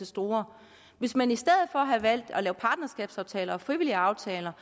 store hvis man i stedet for havde valgt at lave partnerskabsaftaler og frivillige aftaler